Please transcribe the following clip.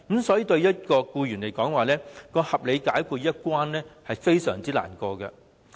所以，對僱員來說，"不合理解僱"這一關卡很難跨越。